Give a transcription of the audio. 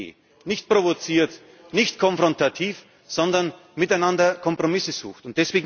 sucht. Das ist die Idee nicht provoziert, nicht konfrontativ, sondern miteinander Kompromisse suchen.